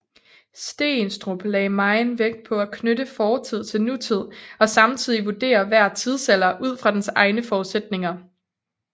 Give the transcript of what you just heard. Steenstrup lagde megen vægt på at knytte fortid til nutid og samtidig vurdere hver tidsalder ud fra dens egne forudsætninger